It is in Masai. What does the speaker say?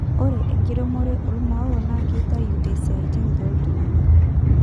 ore enkiremore oo maoa naa keitayu esiatin tooltunganak